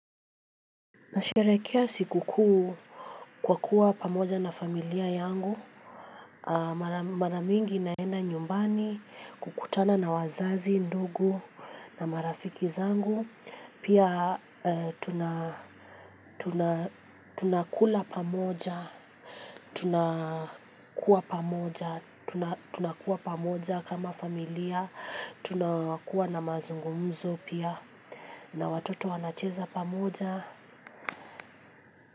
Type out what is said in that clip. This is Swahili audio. Ninasherehekea siku kuu kwa kuwa pamoja na familia yangu. Mara mingi ninaenda nyumbani kukutana na wazazi ndugu na marafiki zangu. Pia tunakula pamoja tunakuwa pamoja kama familia tunakuwa na mazungumzo pia na watoto wanacheza pamoja. Kwa hivyo.